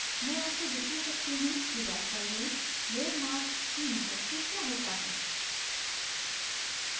मैं आपको दिखा सकती हूँ कि वास्तव में layer mask की मदद से क्या होता है